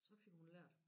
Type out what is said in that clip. Så fik hun lært